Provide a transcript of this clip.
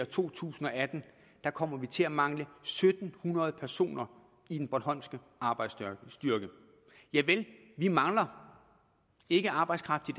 to tusind og atten kommer vi til at mangle en syv hundrede personer i den bornholmske arbejdsstyrke javel vi mangler ikke arbejdskraft i